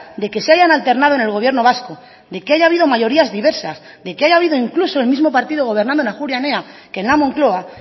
de que se hayan alternado en el gobierno vasco de que haya habido mayorías diversas de que haya habido incluso el mismo partido gobernando en ajuria enea que en la moncloa